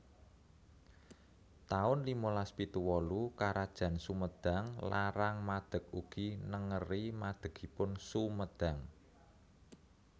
taun limalas pitu wolu Karajan Sumedang Larang madeg ugi nengeri madegipun Sumedang